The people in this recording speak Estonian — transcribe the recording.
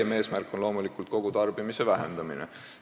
Laiem eesmärk on loomulikult kogutarbimise vähendamine.